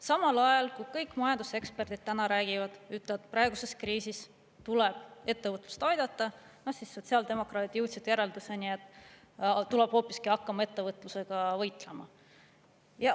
Samal ajal, kui kõik majanduseksperdid täna räägivad, ütlevad, et praeguses kriisis tuleb ettevõtlust aidata, siis sotsiaaldemokraadid jõudsid järelduseni, et tuleb hoopiski hakata ettevõtlusega võitlema.